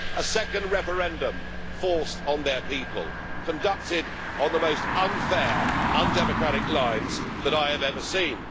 A second referendum forced on their people, conducted on the most unfair, undemocratic lines that I have ever seen.